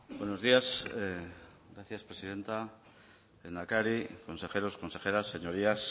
buenos días gracias presidenta lehendakari consejeros consejeras señorías